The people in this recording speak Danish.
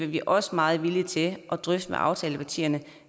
vi også meget villige til at drøfte med aftalepartierne